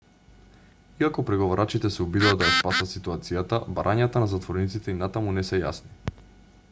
иако преговарачите се обидоа да ја спасат ситуацијата барањата на затворениците и натаму не се јасни